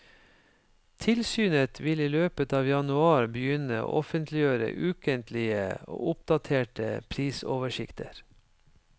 Tilsynet vil i løpet av januar begynne å offentliggjøre ukentlige og oppdaterte prisoversikter.